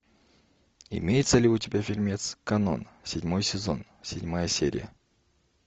имеется ли у тебя фильмец канон седьмой сезон седьмая серия